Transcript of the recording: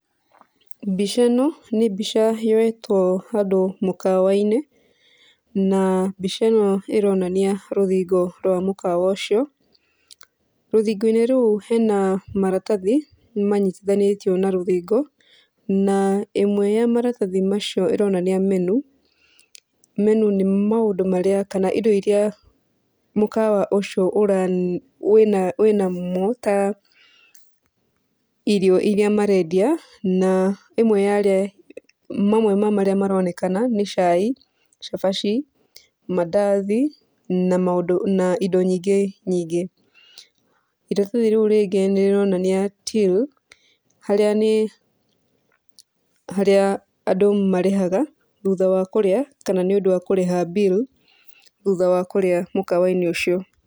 Mbica ĩno nĩ mbica yoetwo handũ mũkawa-inĩ, na mbica ĩno ĩronania rũthingo rwa mũkawa ũcio. Rũthingo-inĩ rũu hena maratathi manyitithanĩtio na rũthingo, na ĩmwe ya maratathi macio ĩronania menu, menu nĩ maũndũ marĩa kana indo iria mũkawa ũcio ũran wĩna wĩnamo ta irio iria marendia na imwe yarĩa mamwe ma marĩa maronekana nĩ cai, cabaci, mandathi na maũndũ na indo nyingĩ nyingĩ. Iratathi rĩu rĩngĩ nirĩronania till harĩa nĩ harĩa andũ marĩhaga thutha wa kũrĩa kana nĩũndũ wa kũrĩha bill thũtha wa kũrĩa mũkawa-inĩ ũcio.